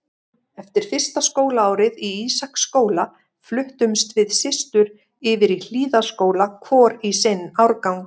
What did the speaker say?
Eftir fyrsta skólaárið í Ísaksskóla fluttumst við systur yfir í Hlíðaskóla, hvor í sinn árgang.